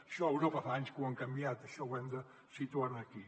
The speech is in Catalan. això a europa fa anys que ho han canviat això ho hem de situar aquí